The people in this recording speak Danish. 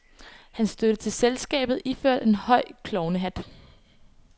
Han stødte til selskabet iført en høj klovnehat.